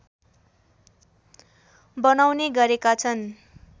बनाउने गरेका छन्